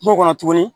Kungo kɔnɔ tuguni